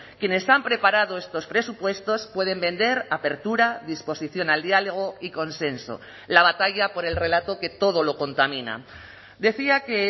quienes han preparado estos presupuestos pueden vender apertura disposición al diálogo y consenso la batalla por el relato que todo lo contamina decía que